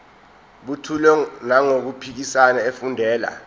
buthule nangokuphimisa efundela